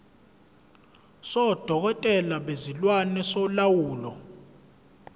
sodokotela bezilwane solawulo